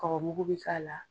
Kɔgɔ mugu bɛ k'a la.